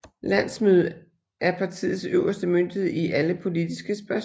Landsmødet er partiets øverste myndighed i alle politiske spørgsmål